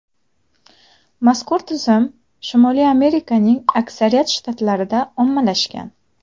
Mazkur tizim Shimoliy Amerikaning aksariyat shtatlarida ommalashgan.